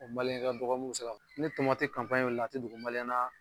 O ka dɔgɔ mun mi se ka ni wilila a ti dogo na